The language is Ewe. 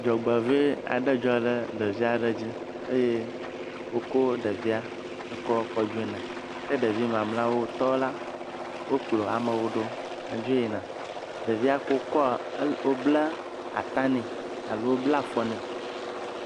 Dzɔgbevɔ̃e aɖe dzɔ ɖe ɖevi aɖe dzi eye wokɔ ɖevia dzo yina ke ɖevi mamlɛawo tɔ la, wokplɔ amewo ɖo hedzo yina. Ɖevi yi ke wokɔa, wobla ata nɛ alo wobla afɔ nɛ.